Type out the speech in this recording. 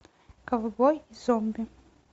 ковбой зомби